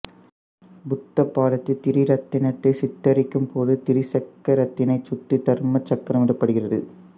புத்த பாதத்தில் திரிரத்தினத்தை சித்தரிக்கும் போது திரிசக்கரத்தினை சுற்றி தர்ம சக்கரம் இடப்படுகிறது